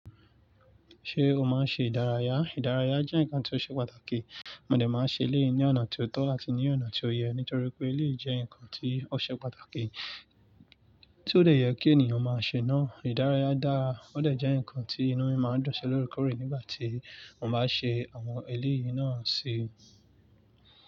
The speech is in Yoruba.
Ṣé o máa ń ṣe ìdárayá? Ìdárayá jẹ́ nǹkan tí ó ṣe pàtàkì. Mo dè máa ṣe eléyìí ní ọ̀nà tí ó tọ́ àti ní ọ̀nà tí ó yẹ nítorí pé ilé jẹ́ nǹkan tí ó ṣe pàtàkì tí ó lè yẹ kí ènìyàn máa ṣe náà. Ìdárayá dára, ó dẹ jẹ́ nǹkan tí inú mi máa ń dùn si lóre kórè nígbà tí mo bá ṣe àwọn eléyìí náà ṣe.